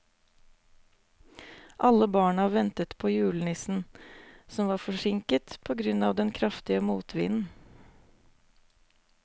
Alle barna ventet på julenissen, som var forsinket på grunn av den kraftige motvinden.